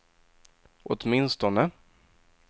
åtminstone